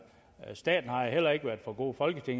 staten har jo heller ikke været for god og det